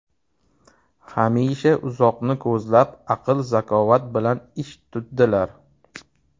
Hamisha uzoqni ko‘zlab, aql-zakovat bilan ish tutdilar.